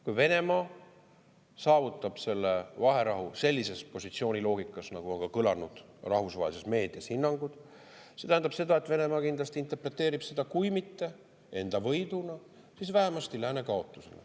Kui Venemaa saavutab selle vaherahu sellises positsiooni loogikas, nagu on kõlanud rahvusvahelises meedias hinnangud, siis see tähendab seda, et Venemaa kindlasti interpreteerib seda kui mitte enda võiduna, siis vähemasti lääne kaotusena.